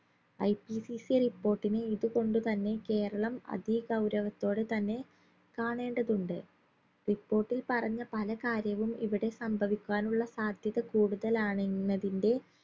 IPCCreport ന് ഇത് കൊണ്ട് തന്നെ കേരളം അതി ഗൗരവത്തോടെ തന്നെ കാണേണ്ടതുണ്ട് report ൽ പറഞ്ഞ പല കാര്യവും ഇവിടെ സംഭവിക്കാനുള്ള സാധ്യത കൂടുതലാണെന്നതിന്റെ